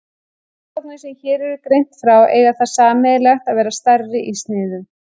Rannsóknirnar sem hér er greint frá eiga það sameiginlegt að vera stærri í sniðum.